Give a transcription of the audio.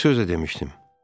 Bir söz də demişdim.